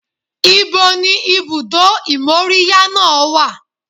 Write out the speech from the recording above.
Ibo ni ibùdó ìmóríyá náà wà?